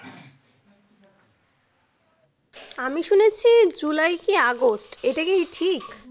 আমি শুনেছি july কি august এটা কি ঠিক